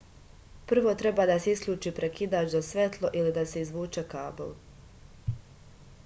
prvo treba da se isključi prekidač za svetlo ili da se izvuče kabl